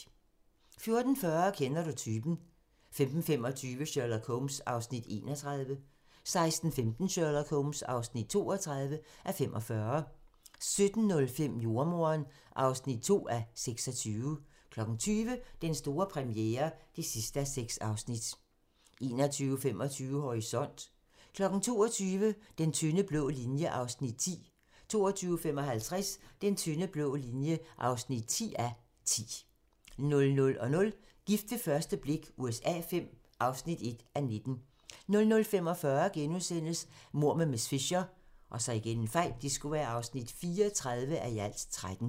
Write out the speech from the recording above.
14:40: Kender du typen? 15:25: Sherlock Holmes (31:45) 16:15: Sherlock Holmes (32:45) 17:05: Jordemoderen (2:26) 20:00: Den store premiere (6:6) 21:25: Horisont (tir) 22:00: Den tynde blå linje (9:10) 22:55: Den tynde blå linje (10:10) 00:00: Gift ved første blik USA V (1:19) 00:45: Mord med miss Fisher (34:13)*